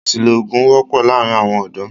Àṣìlò oògùn wọ́pọ́ láàárín àwọn ọ̀dọ́.